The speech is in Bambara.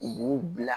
U b'u bila